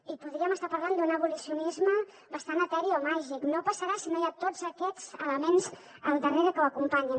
i podríem estar parlant d’un abolicionisme bastant eteri o màgic no passarà si no hi ha tots aquests elements al darrere que ho acompanyin